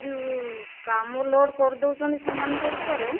ଯୋଉ କାମ load କରିଦେଉଛନ୍ତି ସେମାନଙ୍କ ଉପରେ